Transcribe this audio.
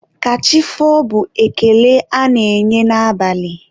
ka chi foo bụ ekele a na-enye n'abalị.